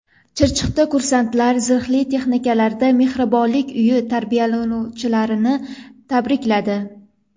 Chirchiqda kursantlar zirhli texnikalarda Mehribonlik uyi tarbiyalanuvchilarini tabrikladi .